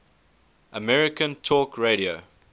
american talk radio